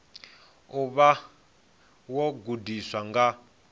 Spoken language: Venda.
u vha wo gudiwa nga